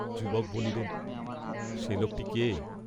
যুবক বলিলেন সে লােকটি কে?